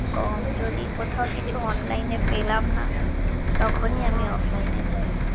কম যদি কোথাও কিছু online এ পেলাম না তখনি আমি offline এ যাই